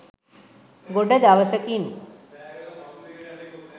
ගොඩ දවසකින්